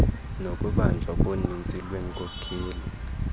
nokubanjwa koninzi lweenkokheli